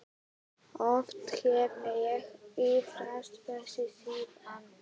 Oft hef ég iðrast þess síðan.